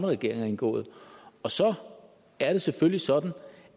regering har indgået og så er det selvfølgelig sådan